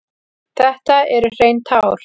Þetta eru hrein tár.